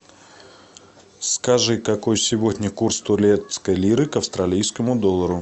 скажи какой сегодня курс турецкой лиры к австралийскому доллару